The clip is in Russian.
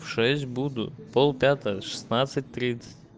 в шесть буду в пол пятого в шестнадцать тридцать